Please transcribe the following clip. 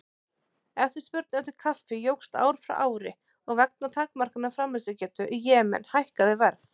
Eftirspurn eftir kaffi jókst ár frá ári og vegna takmarkaðrar framleiðslugetu í Jemen hækkaði verð.